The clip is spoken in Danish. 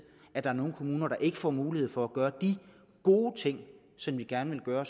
at der er nogle kommuner der ikke får mulighed for at gøre de gode ting som de gerne vil gøre